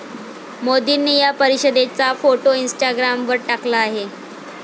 मोदींनी या परिषदेचा फोटो इंस्टाग्रामवर टाकला आहे.